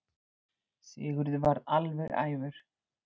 Sigurður varð alveg æfur.